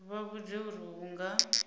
vha vhudze uri hu nga